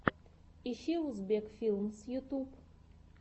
ищи узбек филмс ютуб